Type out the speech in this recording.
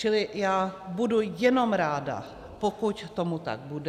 Čili já budu jenom ráda, pokud tomu tak bude.